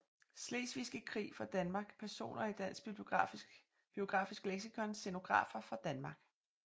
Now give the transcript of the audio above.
Slesvigske Krig fra Danmark Personer i Dansk Biografisk Leksikon Scenografer fra Danmark